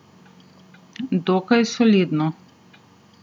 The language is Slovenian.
Dokaj solidno.